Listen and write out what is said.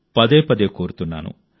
పదే పదే కోరుతున్నాను